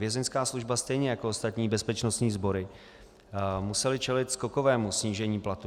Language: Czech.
Vězeňská služba stejně jako ostatní bezpečnostní sbory musela čelit skokovému snížení platů.